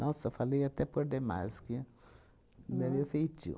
Nossa, falei até por demais, que não é meio feitio.